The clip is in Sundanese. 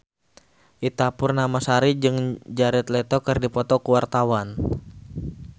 Ita Purnamasari jeung Jared Leto keur dipoto ku wartawan